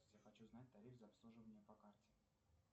я хочу знать тариф за обслуживание по карте